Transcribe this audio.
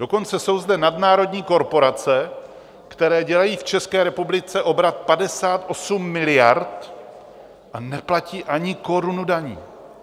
Dokonce jsou zde nadnárodní korporace, které dělají v České republice obrat 58 miliard, a neplatí ani korunu daní.